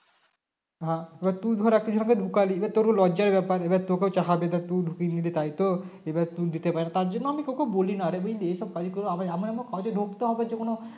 হ্যাঁ এবার ধর একটা ছেনাকে ঢুকালি এবার তোর লজ্জার ব্যাপার এবার তোকেও বলবে যে তুই ঢুকিদিলী তাইতো এবার তুই দিতে পা তাই জন্য আমি তোকেও বলিনা অরে বুঝলি এইসব আমরা মোর কাজে ঢুকতে হবে যেকোনো